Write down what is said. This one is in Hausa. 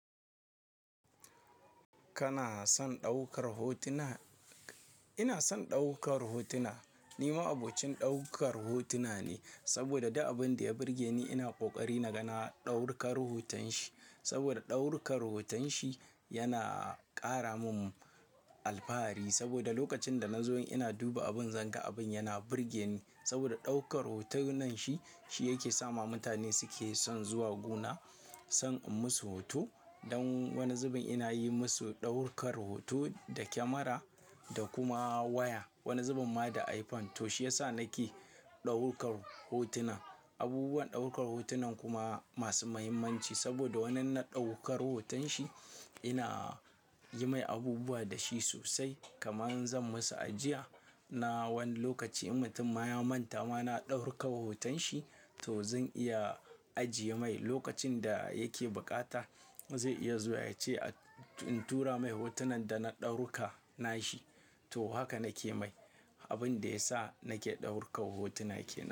Kana son ɗaukar hotuna? Ina son ɗaukar hotuna. Ni ma'abocin ɗaukar hotuna ne, saboda duk abin da ya burge ni ina ƙoƙari na ga na ɗaukar hoton shi. Saboda ɗauruka hoton shi yana ƙara min alfahari. Saboda lokacin da na zo ina duba abin, zan ga abin yana burge ni. Saboda ɗaukar hotunan shi, shi yake sa ma mutane suke son zuwa gona, son in musu hoto. Don wani zubin ina yi musu ɗaurukar hoto da kyamara da kuma waya. Wani zubin ma da iPhone. To shi ya sa nake ɗaurukar hotunan. Abubuwan ɗaukar hotunan kuma masu muhimmanci saboda wannan na ɗaukar hoton shi, ina yi mai abubuwa da shi sosai. Kamar zan masa ajiya na wani lokaci. In mutum ma ya manta, ma na ɗauruka hoton shi, to zan iya ajiye mai. Lokacin da yake bukata zai iya zuwa ya ce in tura mai hotunan da na ɗauka na shi. To haka nake mai. Abin da ya sa nake ɗauka hotuna kenan.